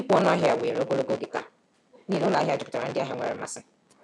Ịkwụ ọnụ ahịa were ogologo oge taa n’ihi na ụlọ ahịa juputara ndị ahịa nwere mmasị.